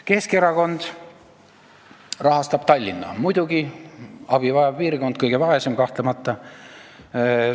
Keskerakond rahastab Tallinna – muidugi, abi vajav piirkond, kõige vaesem, kahtlemata!